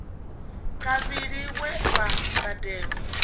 kavhili we wa badelwa u